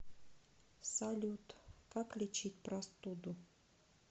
салют как лечить простуду